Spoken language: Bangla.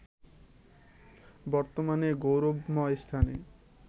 বর্তমানের গৌরবময় স্থানে